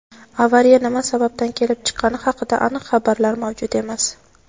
Avariya nima sababdan kelib chiqqani haqida aniq xabarlar mavjud emas.